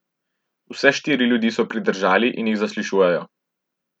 Vse štiri ljudi so pridržali in jih zaslišujejo.